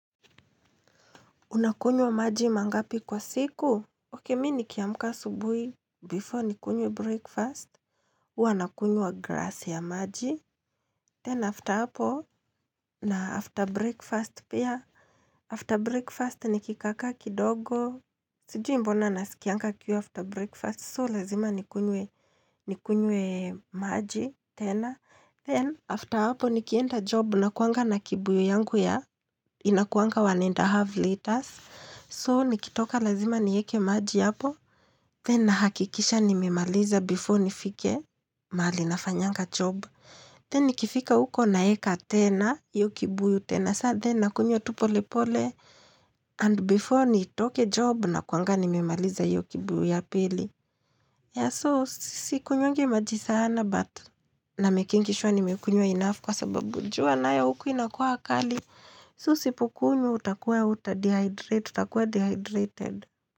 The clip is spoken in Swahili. Unakunywa maji mangapi kwa siku? Oke, mi ni kiamka subuhi. Before ni kunywe breakfast. Uwa nakunywa grass ya maji. Then after apo na after breakfast pia. After breakfast nikikaaka kidogo. Sijui mbona na sikianga kiu after breakfast. So, lazima ni kunywe maji. Then after apo ni kienda job. Unakuanga na kibuyu yangu ya. Inakuanga one and half liters. So nikitoka lazima nieke maji yapo Then hakikisha nimemaliza before nifike Malinafanyanga job Then nikifika uko naeka tena hiyo ki buyu tena Then nakunywa tupole pole And before nitoke job na kuanga nimimaliza iyoki buyu ya pili Yeah so sikunywangi maji sana But na mekingishwa nimekunywa enough Kwa sababu jua na ya huku inakua akali So sipukunywa utakua uta dehydrate tutakua dehydrated.